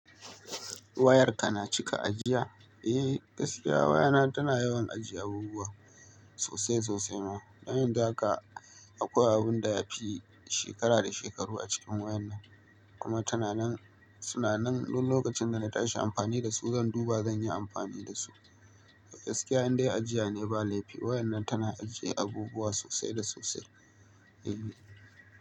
Wayarka na cika ajiya? Eh, gaskiya wayana tana yawan ajiye abubuwa sosai sosai ma. Don yanzu haka akwai abin da ya fi shekara da shekaru a cikin wayan nan. Kuma tana nan, suna nan. Dun lokacin da na tashi amfani da su, zan duba, zan yi amfani da su. Gaskiya, indai ajiya ne ba laifi. Wayan nan tana ajiye abubuwa sosai da sosai. Eh.